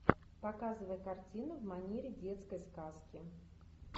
показывай картину в манере детской сказки